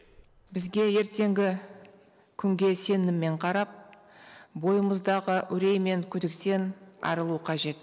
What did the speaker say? бізге ертеңгі күнге сеніммен қарап бойымыздағы үрей мен күдіктен арылу қажет